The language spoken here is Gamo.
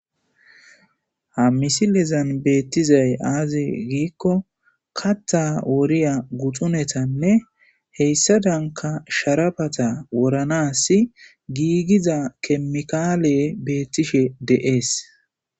Ha misilezan beettizay aaze giikko katha woriya guxunetanne heyssa danka sharabata woranasi giigiza kemikaale beettishe de7ees